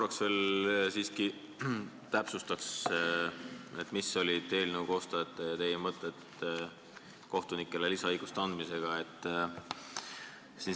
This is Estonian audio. Ma palun siiski veel täpsustada, mida eelnõu koostajad ja teie mõtlesite, kui kohtunikele selle lisaõiguse otsustasite anda.